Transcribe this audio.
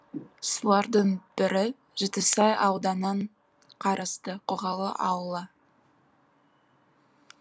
солардың бірі жетісай ауданынан қарасты қоғалы ауылы